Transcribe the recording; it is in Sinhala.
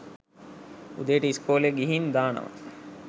උදේට ඉස්කෝලෙ ගිහින් දානවා.